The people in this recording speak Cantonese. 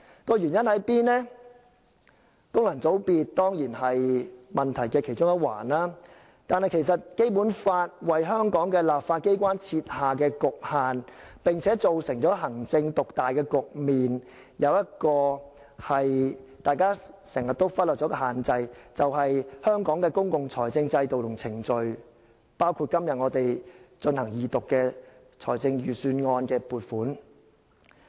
功能界別當然是問題的其中一環，但《基本法》為香港的立法機關設下局限，並造成行政獨大的局面，而其中一個大家經常忽略的限制，便是香港的公共財政制度和程序，包括今天我們進行二讀的預算案撥款。